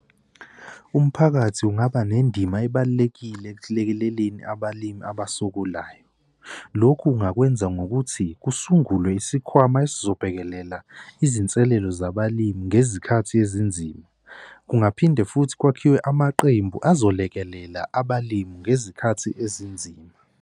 Umphakathi ungaba nendima ebalulekile ekulekeleleni abalimi abasokolayo. Lokhu ungakwenza ngokuthi kusungulwe isikhwama esizobhekelela izinselelo zabalimi ngezikhathi ezinzima. Kungaphinde futhi kwakhiwe amaqembu azolekelela abalimi ngezikhathi ezinzima.